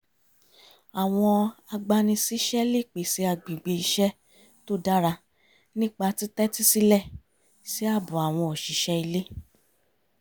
àwọn agbani-síṣẹ́ lè pèsè agbègbè iṣẹ́ tó dára nípa títẹ́tí sílẹ̀ sí ààbọ̀ àwọn òṣìṣẹ́ iulé